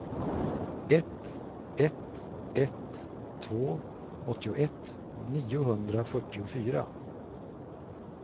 ett ett ett två åttioett niohundrafyrtiofyra